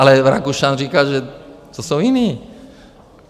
Ale Rakušan říkal, že to jsou jiní.